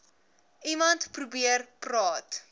iemand probeer praat